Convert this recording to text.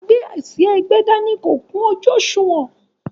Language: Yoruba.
agbé-àsìá-ẹgbẹ́-dání kò ká ojú òṣùwọ̀n.